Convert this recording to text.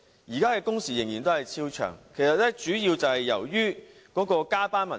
現在的工時仍然超長，主要是由於加班文化。